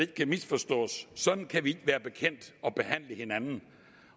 kan misforstås sådan kan vi ikke være bekendt at behandle hinanden